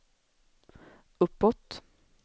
uppåt